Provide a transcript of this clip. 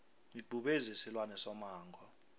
ibhubezi silwane somango